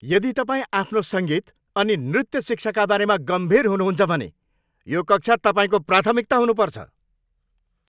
यदि तपाईँ आफ्नो सङ्गीत अनि नृत्य शिक्षाका बारेमा गम्भीर हुनुहुन्छ भने यो कक्षा तपाईँको प्राथमिकता हुनुपर्छ।